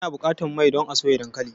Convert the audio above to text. Ana buƙatar mai don a soya dankali.